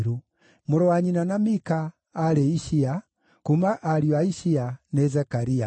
Mũrũ wa nyina na Mika: aarĩ Ishia; kuuma ariũ a Ishia: nĩ Zekaria.